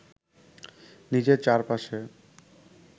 নিজের চারপাশে